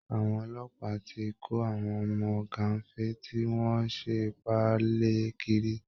Àwọn ọlọ́pàá ti kó àwọn ọmọ gàǹfé tí wọ́n ń ṣe ìpáǹle kiri